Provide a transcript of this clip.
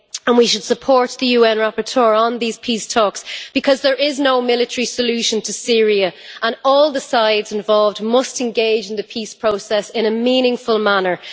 We should support the UN rapporteur on these peace talks because there is no military solution to Syria, and all the sides involved must engage in the peace process in a meaningful manner.